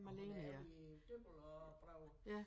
Og hun er oppe i Dybbøl og Broager